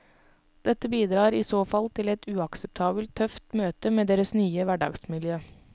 Dette bidrar i så fall til et uakseptabelt tøft møte med deres nye hverdagsmiljø.